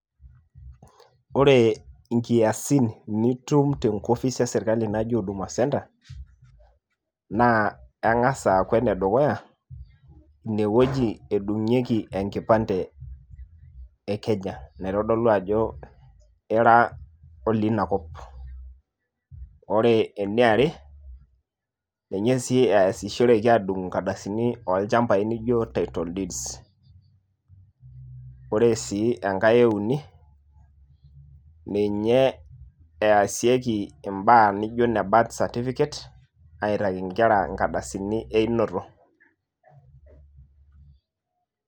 Ore inkiasin nitum tenkofis eserkali naji Huduma centre, naa eng'as aaku enedukuya inewueji edung'ieki enkipande e Kenya naitodolu ajo ira olinakop, ore eniare ninye sii eyasishoreki aadung' nkardasini oolchambai naijo Title Deeds, ore sii enkae euni, ninye easieki mbaa nijo ine birth certificate aitaiki nkera nkardasini einoto.